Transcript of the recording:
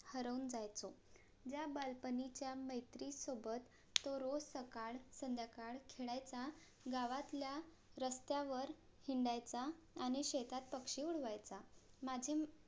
हरवून जायचो ज्या बालपणीच्या मैत्री सोबत तो रोज सकाळ संध्याकाळ खेळायचा गावातल्या रस्त्यावर हिंडायचा आणि शेतात पक्षी उडवायचा माझे